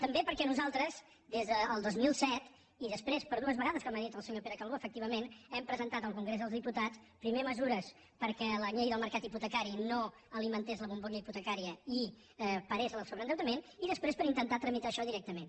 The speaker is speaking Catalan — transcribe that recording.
també perquè nosaltres des del dos mil set i després per dues vegades com ha dit el senyor pere calbó efectivament hem presentat al congrés dels diputats primer mesures perquè la llei del mercat hipotecari no alimentés la bombolla hipote cària i parés el sobreendeutament i després per intentar tramitar això directament